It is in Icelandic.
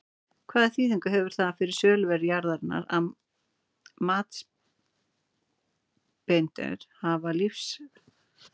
Hvaða þýðingu hefur það fyrir söluverð jarðarinnar að matsbeiðendur hafa lífstíðarábúð á jörðinni?